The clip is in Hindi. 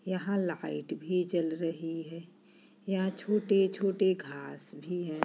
यहाँ लाइट भी जल रही है यहाँ छोटे-छोटे घांस भी हैं।